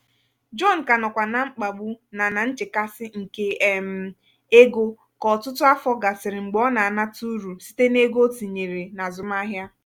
jon kà nọkwa na mkpagbu na na nchekasị nke um ego kà ọtụtụ afọ gasịrị mgbe ọ na-anata uru site n'ego ya o tinyere n'azụmahịa.